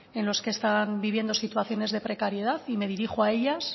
en los que están viviendo situaciones de precariedad y me dirijo a ellas